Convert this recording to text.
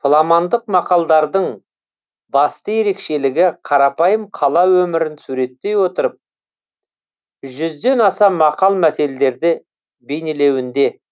фламандық мақалдардың басты ерекшелігі қарапайым қала өмірін суреттей отырып жүзден аса мақал мәтелдерді бейнелеуінде